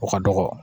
O ka dɔgɔ